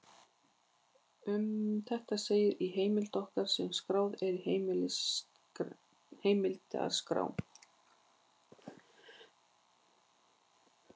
Um þetta segir í heimild okkar sem skráð er í heimildaskrá: